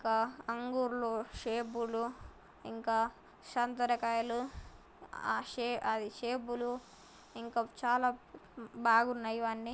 ఇంకా అంగూరు లో షేప్ లు ఇంకా సాతుర్య కాయలు ఆ షే ఆ షేపులు ఇంకా చాలా ఉ-ఉ బాగున్నాయి ఇవి అన్ని.